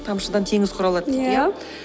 тамшыдан теңіз құралады дейді иә